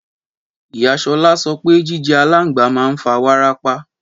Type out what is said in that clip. Ìyá Sola sõpe jijé àlàngbá mà n fá wàràpá